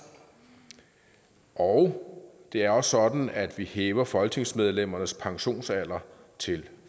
og det er også sådan at vi hæver folketingsmedlemmernes pensionsalder til